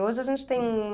Hoje a gente tem um...